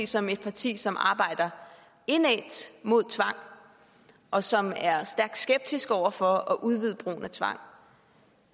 som et parti som arbejder indædt mod tvang og som er stærkt skeptisk over for at udvide brugen af tvang